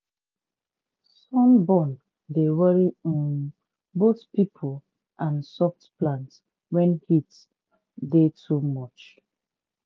sunburn dey worry um both pipo and soft plant wen heat tey too much.